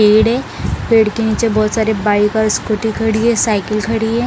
पेड़ हैं पेड़ के नीचे बहुत सारे बाइक और स्कूटी खड़ी हैं साइकिल खड़ी हैं ।